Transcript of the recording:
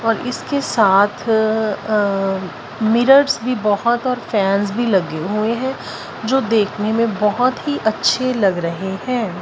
और इसके साथ अह मिरर्स भी बहुत और फैंस भी लगे हुए हैं जो देखने में बहुत ही अच्छे लग रहे हैं।